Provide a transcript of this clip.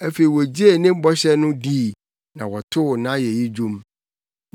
Afei wogyee ne bɔhyɛ no dii na wɔtoo nʼayeyi nnwom.